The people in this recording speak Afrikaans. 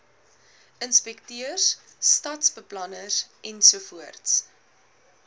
inspekteurs stadsbeplanners ensovoorts